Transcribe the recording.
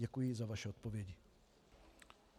Děkuji za vaši odpověď.